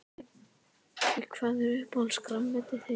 Breki: Hvað er uppáhalds grænmetið þitt?